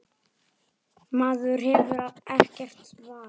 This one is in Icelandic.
Maður hefur ekkert val.